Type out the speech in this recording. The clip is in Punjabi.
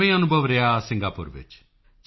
ਕਿਵੇਂ ਅਨੁਭਵ ਰਿਹਾ ਸਿੰਗਾਪੁਰ ਵਿੱਚ